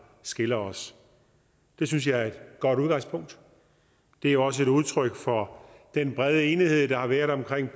skiller os det synes jeg er et godt udgangspunkt det er også et udtryk for den brede enighed der har været omkring